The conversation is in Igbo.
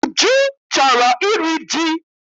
Uju chọrọ iri ji.